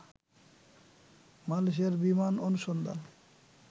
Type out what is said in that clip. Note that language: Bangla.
মালয়েশিয়ার বিমান অনুসন্ধান